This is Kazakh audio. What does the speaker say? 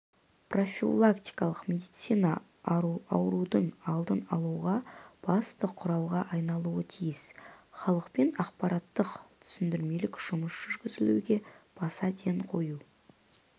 профилактикалық медицина аурудың алдын алудағы басты құралға айналуы тиіс халықпен ақпараттық-түсіндірмелік жұмыс жүргізуге баса ден қою